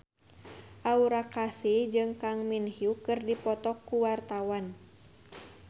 Aura Kasih jeung Kang Min Hyuk keur dipoto ku wartawan